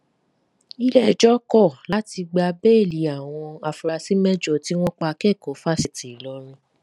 iléẹjọ kọ láti gba bẹẹlì àwọn afurasí mẹjọ tí wọn pa akẹkọọ fáṣítì ìlọrin